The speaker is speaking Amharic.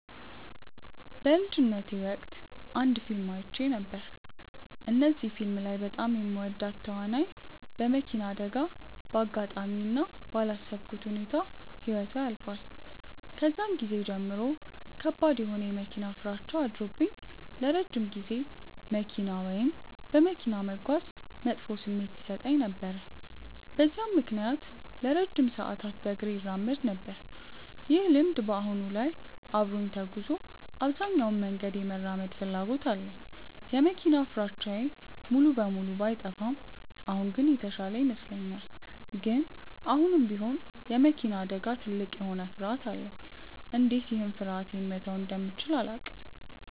በልጅነቴ ወቅት አንድ ፊልም አይቼ ነበር። እዚህ ፊልም ላይ በጣም የምወዳት ተዋናይ በመኪና አደጋ በአጋጣሚ እና ባላሰብኩት ሁኔታ ህይወቷ ያልፋል። ከዛን ጊዜ ጀምሮ ከባድ የሆነ የመኪና ፍራቻ አድሮብኝ ለረጅም ጊዜ መኪና ወይም በመኪና መጓዝ መጥፎ ስሜት ይሰጠኝ ነበር። በዛም ምክንያት ለረጅም ሰዓታት በእግሬ እራመድ ነበር። ይህ ልምድ በአሁን ላይ አብሮኝ ተጉዞ አብዛኛውን መንገድ የመራመድ ፍላጎት አለኝ። የመኪና ፍራቻዬ ሙሉ በሙሉ ባይጠፋም አሁን ግን የተሻለ ይመስለኛል። ግን አሁንም ቢሆን የመኪና አደጋ ትልቅ የሆነ ፍርሀት አለኝ። እንዴት ይህን ፍርሀቴ መተው እንደምችል አላውቅም።